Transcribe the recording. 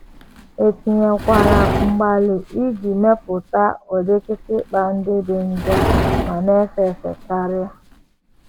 E tinyekwara mgbalị iji mepụta ụdị kịtịkpa ndị dị njọ ma na - efe efe karị.